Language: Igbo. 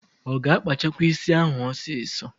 Ọ ga-akpachakwa ísí ahụ ọsịsọ?